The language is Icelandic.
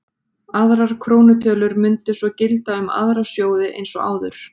Aðrar krónutölur mundu svo gilda um aðra sjóði eins og áður.